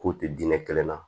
K'u tɛ diɲɛ kelen na